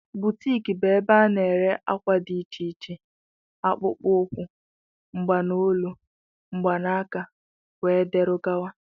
Boutiki bụ ebe ana ere àkwà dị iche iche, akpụkpọ ukwu, mgbanolu, mgbanaka wdg.